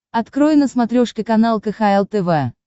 открой на смотрешке канал кхл тв